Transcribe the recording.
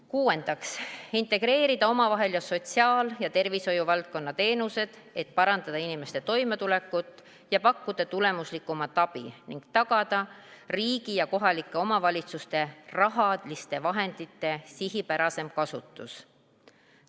Kuuendaks, integreerida omavahel sotsiaal- ja tervishoiuvaldkonna teenused, et parandada inimeste toimetulekut ja pakkuda tulemuslikumat abi ning tagada riigi ja kohalike omavalitsuste rahaliste vahendite sihipärasem kasutus.